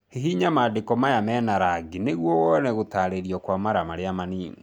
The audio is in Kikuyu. Hihinya mandĩko maya mena rangi nĩguo wone gũtarĩrio kwa mara marĩa manini